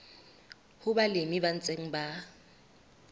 ho balemi ba ntseng ba